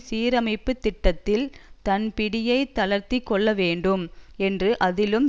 சீரமைப்புத் திட்டத்தில் தன் பிடியைத் தளர்த்தி கொள்ள வேண்டும் என்றும் அதிலும்